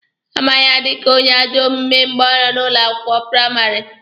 A ma ya dika onye ajọ omume mgbe ọ nọ ụlọ akwụkwọ praịmarị.